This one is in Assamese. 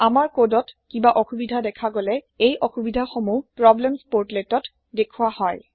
আমাৰ কোদ ত কিবা অসোবিধা দেখা গলে এই অসোবিধা সমূহ প্ৰব্লেমছ পৰ্টলেট্স ত দেখোৱা হয়